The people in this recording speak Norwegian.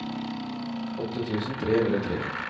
åtte tusen tre hundre og tre